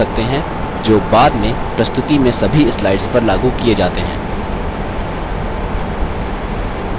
आप यहाँ formatting preferences set कर सकते हैं जो बाद में प्रस्तुति में सभी slides पर लागू किये जाते हैं